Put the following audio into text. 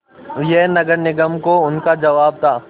यह नगर निगम को उनका जवाब था